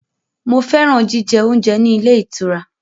Mo fẹ́ràn jíjẹ oúnjẹ ní ilé ìtura.